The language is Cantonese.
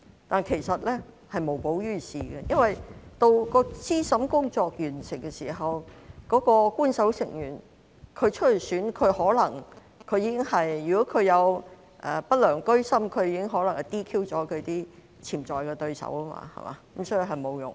但是，這是無補於事的，因為到資審工作完成的時候，如果那位欲參選的官守成員居心不良，可能已 "DQ" 了其潛在對手，所以是沒有用的。